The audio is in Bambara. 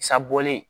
Sa bɔlen